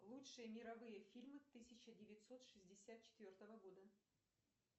лучшие мировые фильмы тысяча девятьсот шестьдесят четвертого года